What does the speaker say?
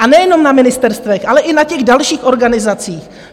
A nejenom na ministerstvech, ale i na těch dalších organizacích?